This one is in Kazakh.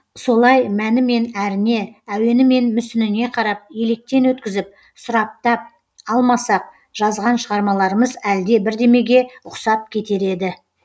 солай мәні мен әріне әуені мен мүсініне қарап електен өткізіп сұраптап алмасақ жазған шығармаларымыз әлде бірдемеге ұқсап кетер еді